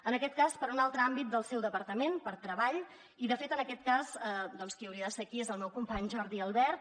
en aquest cas per un altre àmbit del seu departament per treball i de fet en aquest cas doncs qui hauria de ser aquí és el meu company jordi albert